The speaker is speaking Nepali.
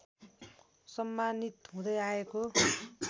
सम्मानित हुँदै आएको